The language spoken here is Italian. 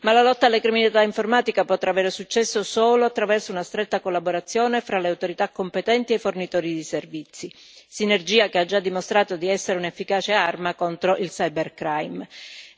Ma la lotta alla criminalità informatica potrà avere successo solo attraverso una stretta collaborazione fra le autorità competenti e i fornitori di servizi, sinergia che ha già dimostrato di essere un'efficace arma contro il cybercrime